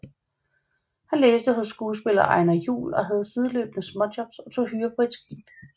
Han læste hos skuespiller Einar Juhl og havde sideløbende småjobs og tog hyre på et skib